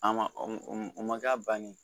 A ma o ma k'a bannen ye